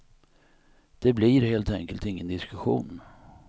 Det blir helt enkelt ingen diskussion.